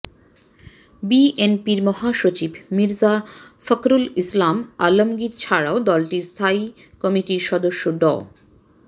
বিএনপির মহাসচিব মির্জা ফখরুল ইসলাম আলমগীর ছাড়াও দলটির স্থায়ী কমিটির সদস্য ড